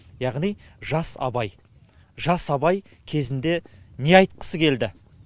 яғни жас абай жас абай кезінде не айтқысы келді